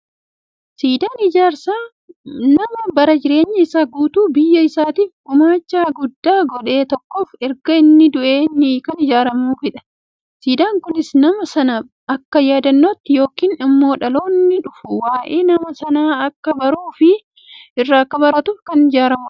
Siidaan ijaarsa nama bara jireenya isaa keessatti biyya isaaf gummacha guddaa godhe tokkoof erga inni du'ee kan ijaaramuufidha. Siidaan kunis, nama sana akka yaadannootti yookiin immoo dhaloonni dhufu waa'ee nama sanaa akka baruufi irraa akka baratuuf kan ijaaramuudha.